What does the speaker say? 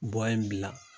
in bila